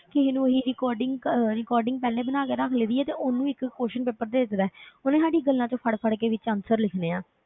ਕਿਸੇ ਨੂੰ ਅਸੀਂ recording ਕ~ recording ਪਹਿਲੇ ਬਣਾ ਕੇ ਰੱਖ ਲਈ ਹੈ ਤੇ ਉਹਨੂੰ ਇੱਕ question paper ਦੇ ਦਿੱਤਾ ਹੈ ਉਹਨੇ ਸਾਡੀ ਗੱਲਾਂ ਵਿੱਚੋਂ ਫੜ ਫੜ ਕੇ ਵਿੱਚ answer ਲਿਖਣੇ ਆਂ,